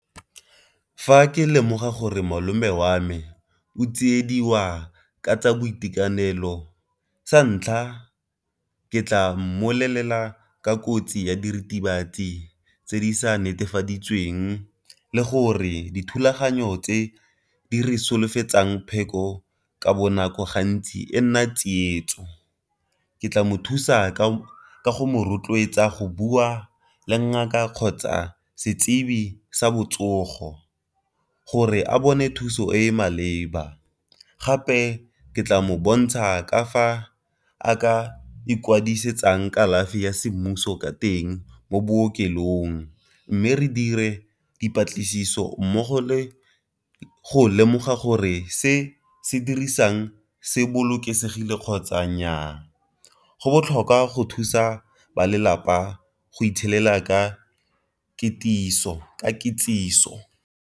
Fa ke lemoga gore malome wa me o tsiediwa ka tsa boitekanelo sa ntlha ke tla mmolelela ka kotsi ya diritibatsi tse di sa netefaditsweng le gore dithulaganyo tse di re solofetsang pheko ka bonako gantsi e nna tsietso. Ke tla mothusa ka go rotloetsa go bua le ngaka kgotsa setsibi sa botsogo, gore a bone thuso e maleba. Gape ke tla mo bontsha ka fa a ka ikwadisetsang kalafi ya semmuso ka teng mo bookelong, mme re dire dipatlisiso mmogo le go lemoga gore se se dirisang se bolokesegile kgotsa nnyaa. Go botlhokwa go thusa ba lelapa go itshelela ka kitsiso.